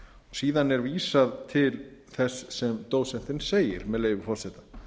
síðan er vísað til þess sem dósentinn segir með leyfi forseta